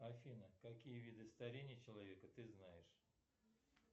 афина какие виды старения человека ты знаешь